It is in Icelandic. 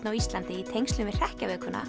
á Íslandi í tengslum við